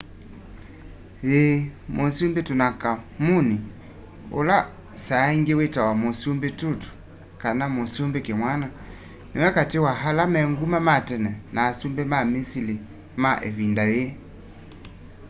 yii musumbi tutankhamun ula saaingi witawa musumbi tut kana musumbi kimwana numwe kati wa ala me nguma ma tene na asumbi ma misili ma ivinda yii